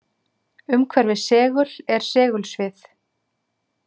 Umhverfis segul er segulsvið.